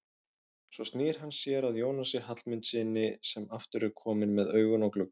Svo snýr hann sér að Jónasi Hallmundssyni sem aftur er kominn með augun á gluggann.